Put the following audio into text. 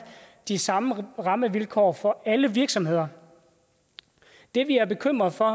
de samme rammevilkår for alle virksomheder det vi er bekymret for